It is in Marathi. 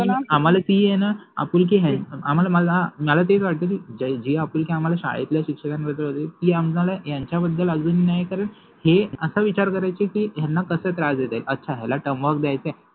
आम्हाला ति आहे न आपुलकि आहे, आम्हाला मला मला तेच वाटते कि जे आपुलकि आम्हाला शाळेच्या शिक्षकाबद्दल होति ति आम्हाला यांच्याबद्दल आलि नाहि कारन ते अस विचार कराय्चे कि याला कस त्रास देता येईल, अच्छा याला टर्म वर्क द्यायचय